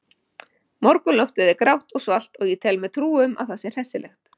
Morgunloftið er grátt og svalt og ég tel mér trú um að það sé hressilegt.